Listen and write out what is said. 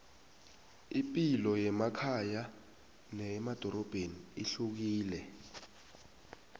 ipilo yemakhaya neyemadorobheni ihlukile